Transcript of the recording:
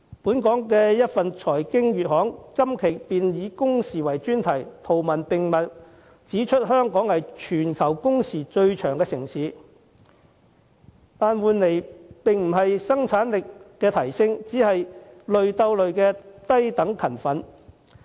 一份本地財經月刊今期以工時為專題，圖文並茂，指出香港是全球工時最長的城市，但換來的並不是生產力的提升，而只是"累鬥累"的低等勤奮。